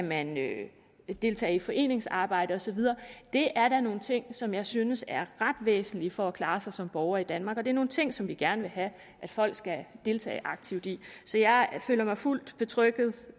man kan deltage i foreningsarbejde og så videre det er da nogle ting som jeg synes er ret væsentlige for at kunne klare sig som borger i danmark og det er nogle ting som vi gerne vil have at folk skal deltage aktivt i så jeg føler mig fuldt betrygget